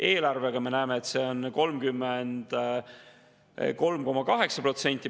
Eelarvega me näeme ja planeerime, et see on 33,8%.